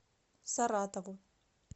саратову